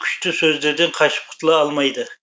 күшті сөздерден қашып құтыла алмайды